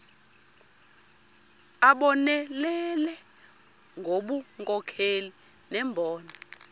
abonelele ngobunkokheli nembono